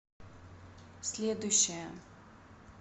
следующая